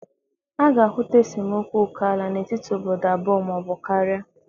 A ga-ahụta esemokwu oke ala n'etiti obodo abụọ ma ọ bụ karịa.